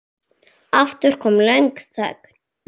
Aftur kom löng þögn.